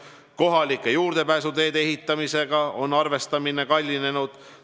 Arvestatud on kohalike juurdepääsuteede ehitamisega, mis on kallinenud.